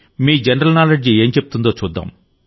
మీ general knowledge ఏం చెప్తుందో చూద్దాం